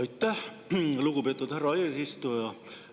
Aitäh, lugupeetud härra eesistuja!